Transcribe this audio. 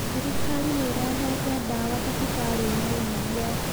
Thirikari nĩ ĩrehete ndawa thibitarĩ-inĩ ĩrĩa.